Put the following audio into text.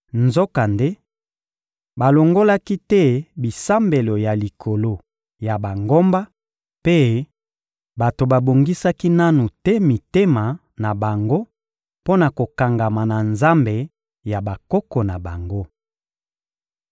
Nzokande, balongolaki te bisambelo ya likolo ya bangomba; mpe bato babongisaki nanu te mitema na bango mpo na kokangama na Nzambe ya bakoko na bango.